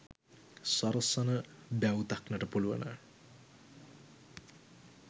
සරසන බැව් දක්නට පුළුවන.